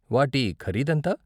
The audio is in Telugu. వాటి ఖరీదెంత?